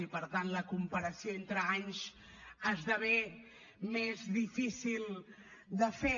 i per tant la comparació entre anys esdevé més difícil de fer